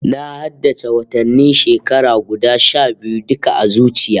Na haddace watannin shekara guda sha biyu duka a zuciya